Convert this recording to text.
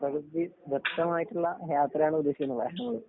പ്രകൃതി ദത്തമായിട്ടുള്ള യാത്രയാണ് ഉദ്ദേശിക്കുന്നത്.